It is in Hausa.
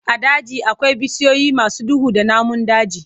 A daji akwai bishiyoyi masu duhu da namun daji.